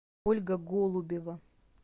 ольга голубева